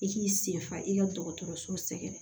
I k'i senfa i ka dɔgɔtɔrɔso sɛgɛrɛ